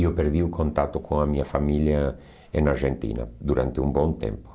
E eu perdi o contato com a minha família em na Argentina durante um bom tempo.